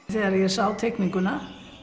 þegar ég sá teikninguna